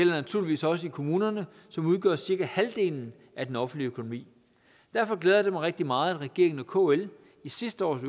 naturligvis også i kommunerne som udgør cirka halvdelen af den offentlige økonomi derfor glæder det mig rigtig meget at regeringen og kl i sidste års